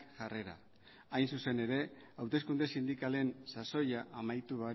jarrera hain zuzen ere hauteskunde sindikalen sasoia amaitu